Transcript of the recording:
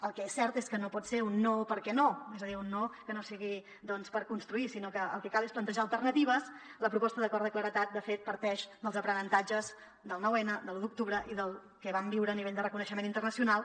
el que és cert és que no pot ser un no perquè no és a dir un no que no sigui doncs per construir sinó que el que cal és plantejar alternatives la proposta d’acord de claredat de fet parteix dels aprenentatges del 9n de l’u d’octubre i del que vam viure a nivell de reconeixement internacional